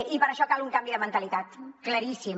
i per a això cal un canvi de mentalitat claríssim